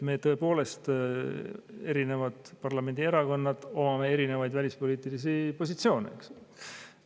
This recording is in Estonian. Me tõepoolest, erinevad parlamendierakonnad, omame erinevaid välispoliitilisi positsioone.